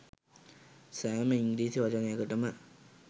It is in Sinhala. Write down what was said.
සෑම ඉංග්‍රීසි වචනයකටම